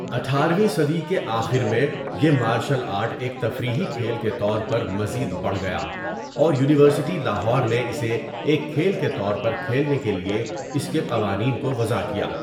اٹھار ویں صدی کے آخر میں یہ مارشل آرٹ ایک تفریحی کھیل کے طور پر مزید بڑھ گیا اور یونیورسٹی لاہور نے اسے ایک کھیل کے طور پر کھیلنے کے لیےاس کے قوانین کو وضع کیا۔